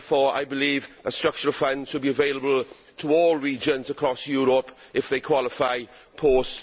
I believe a structural fund should be available to all regions across Europe if they qualify post